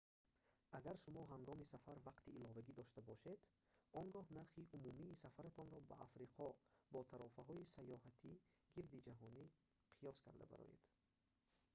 агар шумо ҳангоми сафар вақти иловагӣ дошта бошед он гоҳ нархи умумии сафаратонро ба африқо бо тарофаҳои сайёҳати гирдиҷаҳонӣ қиёс карда бароед